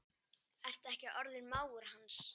Ertu ekki orðinn mágur hans?